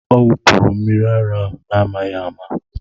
Ọ wụpụrụ mmiri ara n'amaghị ama